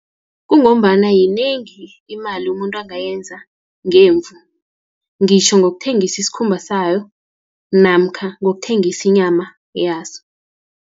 Kungombana yinengi imali umuntu angayenza ngemvu, ngitjho ngokuthengisi isikhumba sayo, namkha ngokuthengisa inyama yaso.